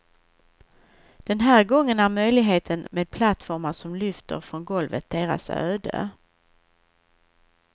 Den här gången är möjligheten med plattformar som lyfter från golvet deras öde.